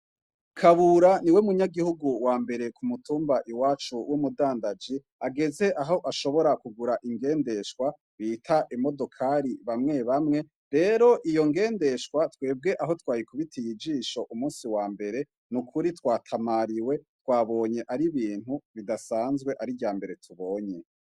Kabura ni we munyagihugu wa mbere ku mutumba i wacu w' mudandaji ageze aho ashobora kugura ingendeshwa bita imodokari bamwe bamwe rero iyo ngendeshwa twebwe aho twayikubitiye ijisho umusi wa mbere ni ukuri twatamariwe twabonye ari bintu bidasanzwe ari ryame mere tubonye.